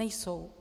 Nejsou.